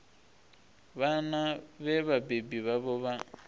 vhana vhe vhabebi vhavho vha